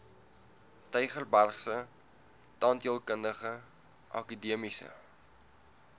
tygerbergse tandheelkundige akademiese